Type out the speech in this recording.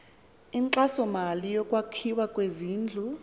inkxasomali yokwakhiwa kwezindlu